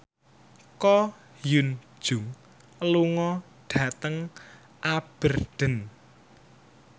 Ko Hyun Jung lunga dhateng Aberdeen